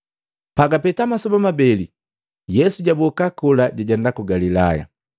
Pagapeta masoba mabeli, Yesu jaboka kola jajenda ku Galilaya.